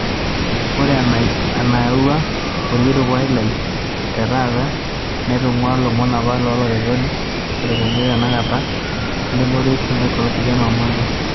Ore enayua olkilikuai lai le taata naaitungua ilomon apa lolaretoni lolarikoni teinakata, olemekure eishiu Michael Kijana Wamalwa.